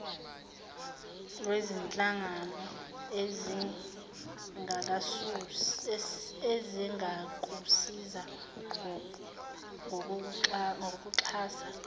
lwezinhlangano ezingakusiza ngokukuxhasa